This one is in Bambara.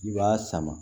I b'a sama